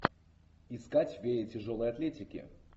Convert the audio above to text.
искать фея тяжелой атлетики